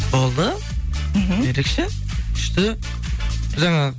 болды мхм ерекше күшті жаңа